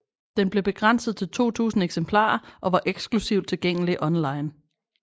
Den blev begrænset til 2000 eksemplarer og var eksklusivt tilgængelig online